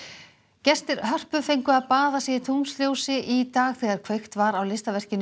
gestir Hörpu fengu að baða sig í tunglsljósi í dag þegar kveikt var á listaverkinu